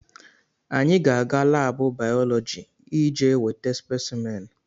Anyị ga-aga laabụ bayọlọji ije weta spesimen.